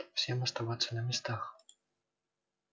всем оставаться на местах